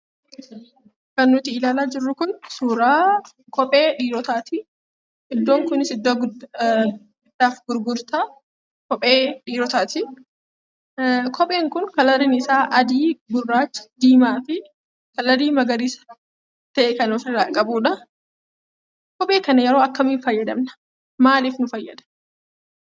Kan nuti ilaalaa jirru kun suuraa kophee dhiirotaati. Iddoon kunis iddoo bittaa fi gurgurtaa kophee dhiirotaati. Kopheen kun halluun isaa adii , gurraacha, diimaa fi halluu magariisa ta'e kan ofirraa qabudha. Kophee kana yeroo akkamii fayyadamna? maaliif fayyadamna?